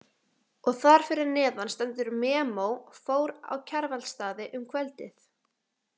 Og þar fyrir neðan stendur MEMO Fór á Kjarvalsstaði um kvöldið.